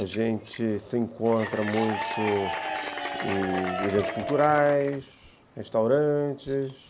A gente se encontra muito em eventos culturais, restaurantes.